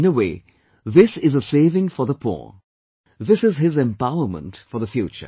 In a way, this is a saving for the poor, this is his empowerment for the future